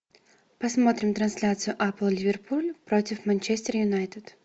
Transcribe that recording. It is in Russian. посмотрим трансляцию апл ливерпуль против манчестер юнайтед